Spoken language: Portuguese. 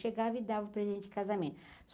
Chegava e dava o presente de casamento.